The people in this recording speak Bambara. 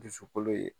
Dusukolo ye